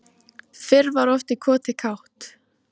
Fyrr var oft í koti kátt.